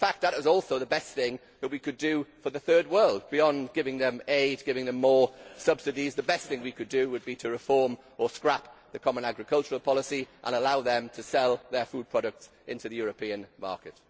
That is also the best thing we could do for the Third World. Beyond giving them aid, giving them more subsidies, the best thing we could do would be to reform or scrap the common agricultural policy and allow them to sell their food products in the European market.